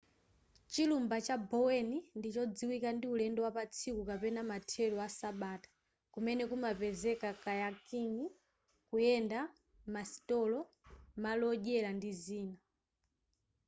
chilumba cha bowen ndi chodziwika ndi ulendo wapatsiku kapena mathelo asabata kumene kumapezeka kayaking kuyenda masitolo malo odyera ndi zina